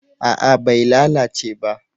A'a bai lalace ba